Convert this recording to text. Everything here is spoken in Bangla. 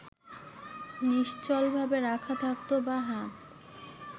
নিশ্চলভাবে রাখা থাকত বাঁ হাত